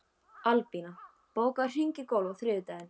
Albína, bókaðu hring í golf á þriðjudaginn.